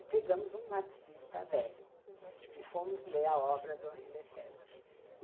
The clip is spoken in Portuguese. E pegamos um marxista velho e fomos ler a obra do Henri Lefèvre.